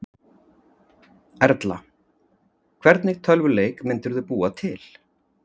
Erla: Hvernig tölvuleik myndirðu búa til?